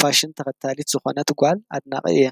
ፋሽን ተኸታሊት ዝኾነት ጓል አድናቂ እየ፡፡